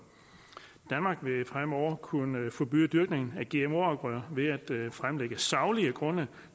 danmark vil fremover kunne forbyde dyrkning af gmo afgrøder ved at fremlægge saglige grunde